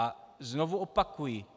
A znovu opakuji.